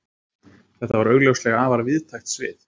Þetta er augljóslega afar víðtækt svið.